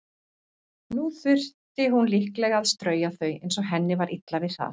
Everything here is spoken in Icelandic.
Nú þyrfti hún líklega að strauja þau, eins og henni var illa við það.